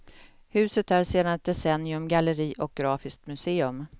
Huset är sedan ett decennium galleri, och grafiskt museum.